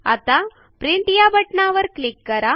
आता प्रिंट या बटणावर क्लिक करा